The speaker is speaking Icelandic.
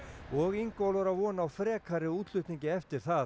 og Ingólfur á von á frekari útflutningi eftir það